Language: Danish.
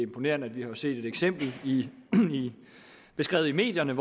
imponerende vi har jo set et eksempel beskrevet i medierne